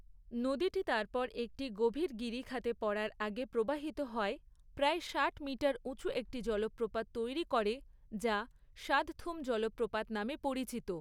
নদীটি তারপর একটি গভীর গিরিখাতে পড়ার আগে প্রবাহিত হয়, প্রায় ষাট মিটার উঁচু একটি জলপ্রপাত তৈরি করে যা শাদথুম জলপ্রপাত নামে পরিচিত।